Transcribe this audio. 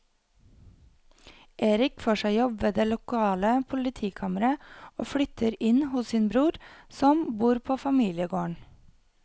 Erik får seg jobb ved det lokale politikammeret og flytter inn hos sin bror som bor på familiegården.